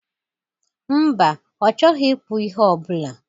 Mba, ọ chọghị ikpụ ihe ọbụla